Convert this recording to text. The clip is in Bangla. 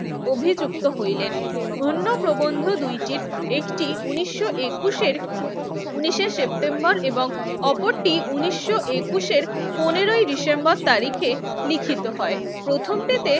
অভিযুক্ত হইলেন। অন্য প্রবন্ধ দুইটির একটি ঊনিশো একুশের উনিশে সেপ্টেম্বর এবং অপরটি ঊনিশো একুশের পনেরোই ডিসেম্বর তারিখে লিখিত হয়। প্রথমটিতে